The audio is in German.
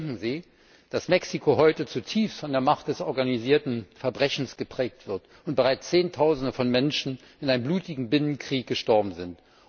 Bedenken Sie, dass Mexiko heute zutiefst von der Macht des organisierten Verbrechens geprägt wird und bereits Zehntausende von Menschen in einem blutigen Binnenkrieg gestorben sind.